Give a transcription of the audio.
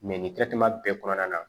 nin bɛɛ kɔnɔna na